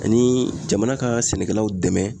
Ani jamana ka sɛnɛkɛlaw dɛmɛ